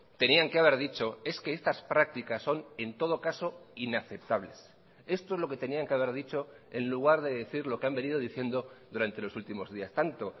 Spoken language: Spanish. tenían que haber dicho es que estas prácticas son en todo caso inaceptables esto es lo que tenían que haber dicho en lugar de decir lo que han venido diciendo durante los últimos días tanto